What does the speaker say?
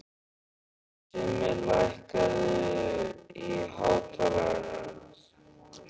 Simmi, lækkaðu í hátalaranum.